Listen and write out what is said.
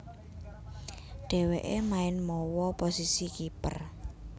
Dhèwèké main mawa posisi kiper